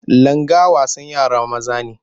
Langa wasan yara maza ne.